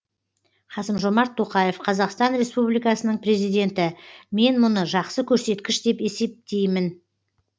қасым жомарт тоқаев қазақстан республикасының президенті мен мұны жақсы көрсеткіш деп есептеймін